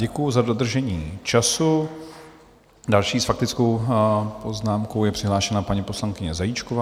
Děkuji za dodržení času, další s faktickou poznámkou je přihlášena paní poslankyně Zajíčková.